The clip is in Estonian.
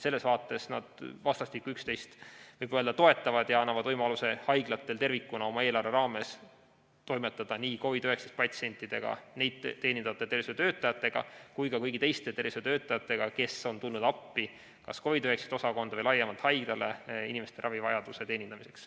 Selles vaates nad vastastikku üksteist, võib öelda, toetavad ja annavad võimaluse haiglatel tervikuna oma eelarve raames toimetada nii COVID‑19 patsientidega, neid teenindavate tervishoiutöötajatega kui ka kõigi teiste tervishoiutöötajatega, kes on tulnud appi kas COVID‑19 osakonda või laiemalt haiglale inimeste ravivajaduse teenindamiseks.